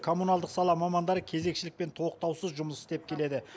коммуналдық сала мамандары кезекшілікпен тоқтаусыз жұмыс істеп келеді